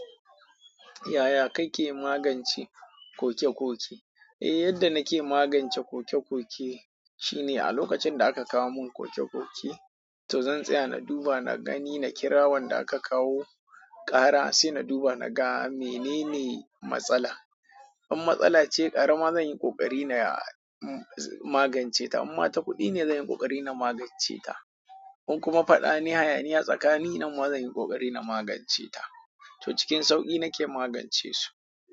Yaya kake magance kokekoke? Eh, yadda nake magance kokekoke shine a lokacin da aka kawo mun kokekoke, to zan tsaya na duba, na gani, na kira wanda aka kawo ƙara sai na duba na ga menene matsala. In matsala ce ƙarama zan yi ƙoƙari na magance ta. Imma ta kuɗi ne, zan yi ƙoƙari na magance ta. In kuma faɗa ne, hayaniya tsakani, nan ma zan yi ƙoƙari na magance ta. To cikin sauƙi nake magance su.